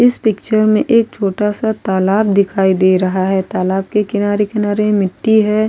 इस पिक्चर में एक छोटासा तालाब दिखाई दे रहा है तालाब के किनारे किनारे मिट्टी है।